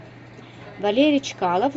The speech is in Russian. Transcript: валерий чкалов